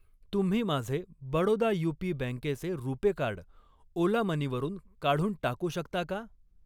तुम्ही माझे बडोदा यूपी बँकेचे रुपे कार्ड ओला मनी वरून काढून टाकू शकता का?